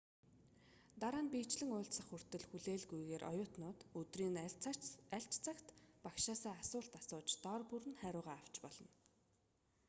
дараа нь биечлэн уулзах хүртэл хүлээлгүйгээр оюутнууд өдрийн аль ч цагт багшаасаа асуулт асууж дор бүр нь хариугаа авч болно